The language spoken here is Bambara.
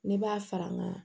Ne b'a fara n ka